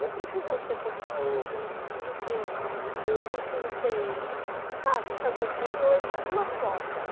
Não precisa ser construindo, não precisa ser, não precisa ser, sabe, fazendo reuniões, mas uma forma.